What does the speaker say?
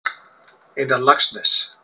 Einar Laxness.